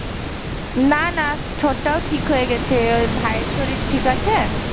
না না ঠোঁট টাও ঠিক হয়ে গেছে আহ ভাইয়ের শরীর ঠিক আছে?